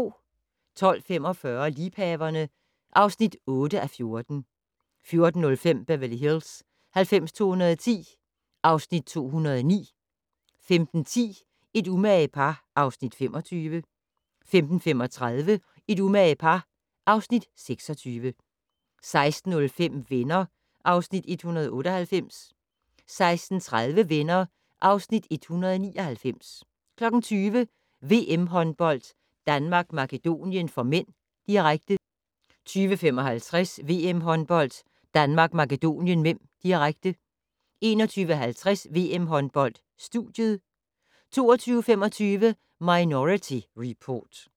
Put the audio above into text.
12:45: Liebhaverne (8:14) 14:05: Beverly Hills 90210 (Afs. 209) 15:10: Et umage par (Afs. 25) 15:35: Et umage par (Afs. 26) 16:05: Venner (Afs. 198) 16:30: Venner (Afs. 199) 20:00: VM-håndbold: Danmark-Makedonien (m), direkte 20:55: VM-håndbold: Danmark-Makedonien (m), direkte 21:50: VM-håndbold: Studiet 22:25: Minority Report